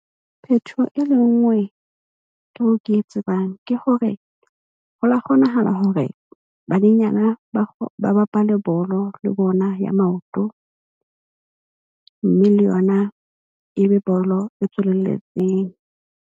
Phetoho e le nngwe eo ke e tsebang ke hore ho la kgonahala hore banyenyana ba bapale bolo le bona ya maoto, mme le yona e be bolo e tswelelletseng.